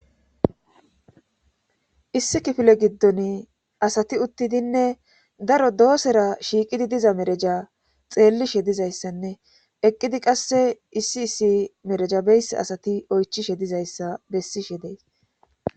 issi kifile giddon asati uttidinne daro doosera shiiqidi diza mereja xeelli shedizayssanne eqqidi qasse issi issi merejabeys asati oychishe dizayssa bessi shedeys